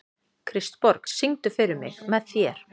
Kristborg, syngdu fyrir mig „Með þér“.